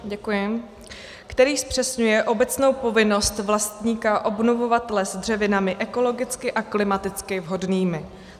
Který zpřesňuje obecnou povinnost vlastníka obnovovat les dřevinami ekologicky a klimaticky vhodnými.